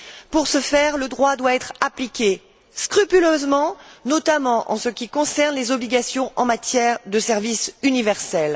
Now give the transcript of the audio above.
Pour ce faire, le droit doit être appliqué scrupuleusement, notamment en ce qui concerne les obligations en matière de service universel.